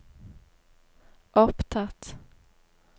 opptatt